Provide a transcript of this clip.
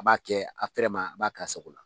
A b'a kɛ a fɛrɛ ma a b'a k'a sogo la.